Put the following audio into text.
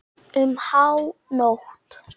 Um hánótt.